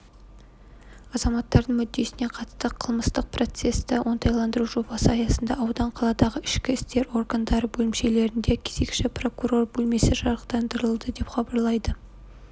азаматтардың мүддесіне қатысты қылмыстық процесті оңтайландыру жобасы аясында аудан қаладағы ішкі істер органдары бөлімшелерінде кезекші прокурор бөлмесі жарықтандырылды деп хабарлайды